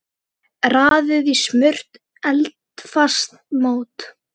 Raðið í smurt eldfast mót.